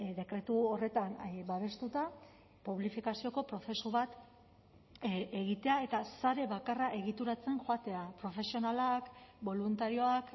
dekretu horretan babestuta publifikazioko prozesu bat egitea eta sare bakarra egituratzen joatea profesionalak boluntarioak